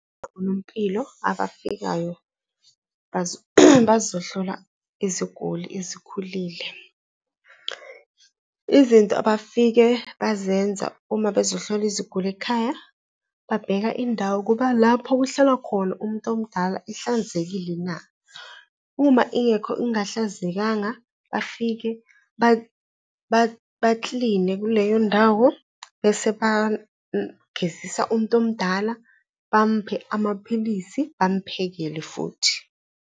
Onompilo abafikayo bazohlola iziguli ezikhulile. Izinto abafike bazenza uma bezohlola iziguli ekhaya, babheka indawo ukuba lapho kuhlala khona umuntu omdala ihlanzekile na? Uma ingekho ingahlanzekanga, bafike bakline kuleyo ndawo bese bagezisa umuntu omdala, bamuphe amaphilisi, bamuphekele futhi.